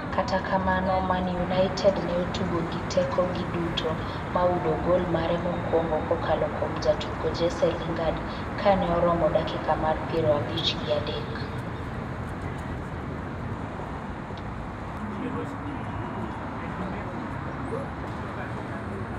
kata kamano Man United ne otugo gi teko gi duto ma oyudo gol mare mokwongo kokalo kuom jatugo Jesse Lingaard kane oromo dakika mar piero abich gi adek